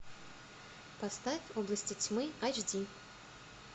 поставь области тьмы айч ди